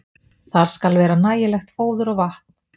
Þar skal vera nægilegt fóður og vatn.